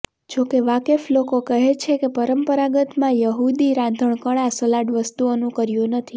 જોકે વાકેફ લોકો કહે છે કે પરંપરાગત માં યહૂદી રાંધણકળા સલાડ વસ્તુઓનું કર્યું નથી